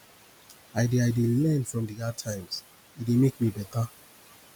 i dey i dey learn from di hard times e dey make me beta